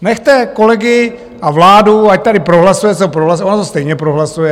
Nechte kolegy a vládu, ať tady prohlasuje, co prohlasuje, ona to stejně prohlasuje.